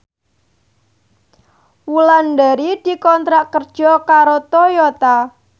Wulandari dikontrak kerja karo Toyota